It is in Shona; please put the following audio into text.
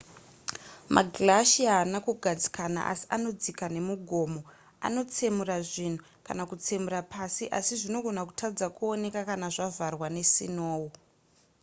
maglacier haana kugadzikana asi anodzika nemugomo anotsemura zvinhu kana kutsemura pasi asi zvinogona kutadza kuoneka kana zvavharwa nesinou